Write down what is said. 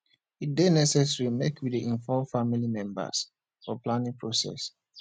e dey necessary make we dey involve family members for planning process